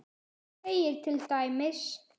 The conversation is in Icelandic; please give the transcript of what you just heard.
segir til dæmis